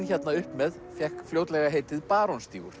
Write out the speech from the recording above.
hérna upp með fékk fljótlega heitið